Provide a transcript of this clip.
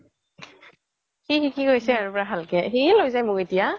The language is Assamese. সি শিকি গৈছে পুৰা ভালকে সি য়ে লৈ যাই মোক এতিয়া